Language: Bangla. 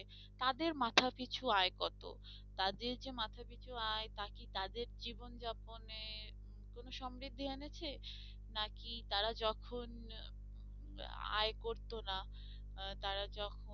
তাদের মাথা পিছু আয় কত তাদের যে মাথা পিছু আয় তা কি তাদের জীবন যাপন এ কোনো সমৃদ্ধি এনেছে? না কি তারা যখন আয় করতোনা আহ তারা যখন